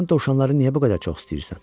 Sən dovşanları niyə bu qədər çox istəyirsən?